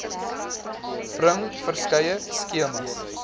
bring verskeie skemas